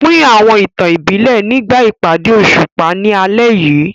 Pín àwọn ìtàn ìbílẹ̀ nígbà ìpàdé òṣùpá ní alẹ́ yìí.